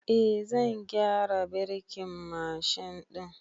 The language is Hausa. Eh, zan gyara birkin Mashin ɗin